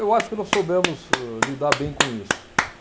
Eu acho que não soubemos, âh, lidar bem com isso.